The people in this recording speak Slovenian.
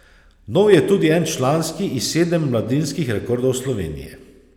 Nov je tudi en članski in sedem mladinskih rekordov Slovenije.